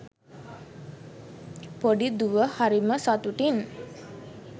පොඩි දුව හරිම සතුටින්